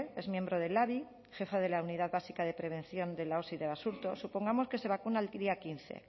es miembro del labi jefa de la unidad básica de prevención de la osi de basurto supongamos que se vacuna el día quince